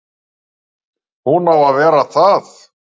Hún á að vera það.